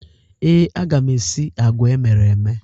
Ee, aga m esi agwa emere eme.